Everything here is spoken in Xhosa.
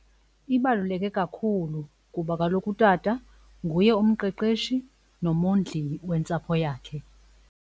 Ibaluleke kakhulu kuba kaloku utata nguye umqeqeshi nomondli wentsapho yakhe.